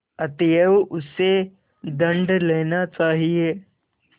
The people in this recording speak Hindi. अतएव उससे दंड लेना चाहिए